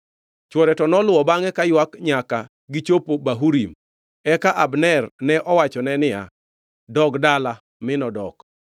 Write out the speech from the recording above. Chwore to noluwo bangʼe kaywak nyaka gichopo Bahurim, eka Abner ne owachone niya, “Dog dala!” Mi nodok.